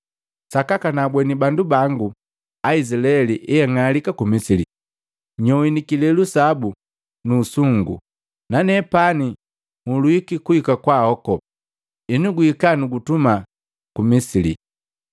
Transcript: Sakaka naabweni bandu bangu Aizilaeli eang'alika ku Misili. Nyowini kilelu sabu su usungu nanepani nhulwiki kuhika kwaahoko. Henu guhika nukutuma ku Misili.’ ”